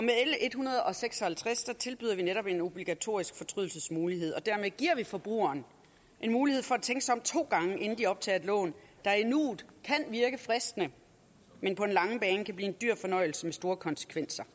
hundrede og seks og halvtreds tilbyder vi netop en obligatorisk fortrydelsesmulighed og dermed giver vi forbrugerne en mulighed for at tænke sig om to gange inden de optager et lån der i nuet kan virke fristende men på den lange bane kan blive en dyr fornøjelse med store konsekvenser